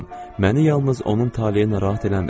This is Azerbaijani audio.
Məni yalnız onun taleyi narahat eləmir.